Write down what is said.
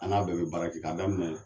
An n'a bɛɛ be baara kɛ ka daminɛ